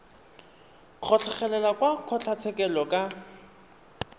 go tlhagelela kwa kgotlatshekelo ka